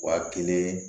Wa kelen